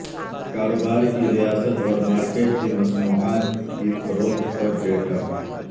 کاروبار کی ریاست اور مارکیٹ کی مصنوعات کی فروخت پر ڈیٹا